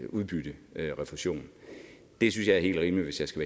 udbytterefusion det synes jeg er helt rimeligt hvis jeg skal